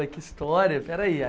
Ah, que história, peraí.